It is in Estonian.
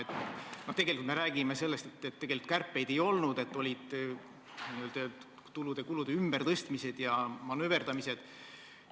Tegelikult me nüüd räägime sellest, et kärpeid ei olnud, olid tulude-kulude ümbertõstmised ja manööverdamised.